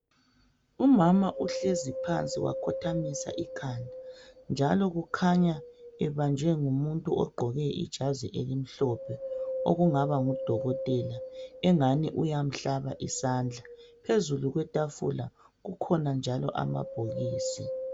Umama uhlezi phansi wakhothamisa ikhanda njalo kukhanya ebanjwe ngumuntu ogqoke ijazi elimhlophe okungaba ngudokotela engani uyamhlaba isandla, phezulu kwetafula kukhona njalo amabhokisi.